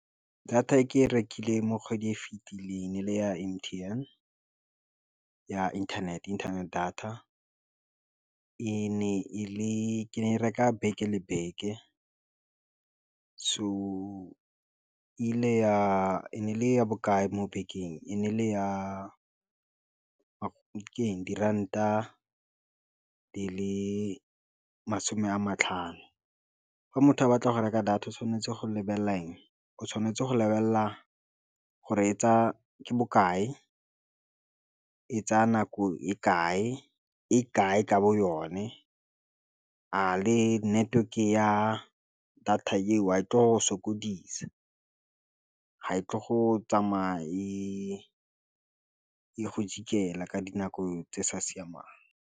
Data e ke e rekileng mo kgwedi e fitileng e le ya M_T_N ya internet data e ne e reka beke le beke so ile ya e le ya bokae mo bekeng, e ne e le ya diranta di le masome a matlhano fa motho a batla go reka data o tshwanetse go lebelela eng o tshwanetse go lebelela gore e tsaya ke bokae e tsaya nako e kae, e kae ka bo yone a le network-e ya data e wa e tlo sokodisa, ga e tle go tsamaya e e go jikela ka dinako tse sa siamang.